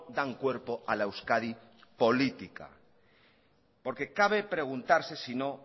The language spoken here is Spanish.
dan cuerpo a la euskadi política porque cabe preguntarse sino